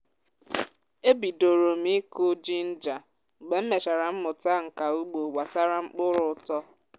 e bidòrò m ịkụ jinja mgbe m mechara mmụta nka ugbo gbasara mkpụrụ ụtọ